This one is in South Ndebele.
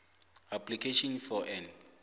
application for an